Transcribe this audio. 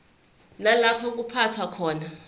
nalapho kuphathwa khona